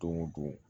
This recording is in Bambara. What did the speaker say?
Don o don